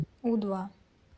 у два